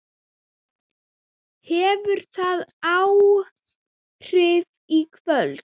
Hefur það áhrif í kvöld?